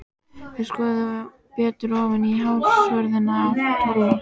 Þeir skoðuðu betur ofan í hársvörðinn á Tolla.